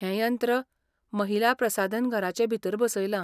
हें यंत्र महिला प्रसाधनघराचे भितर बसयलां.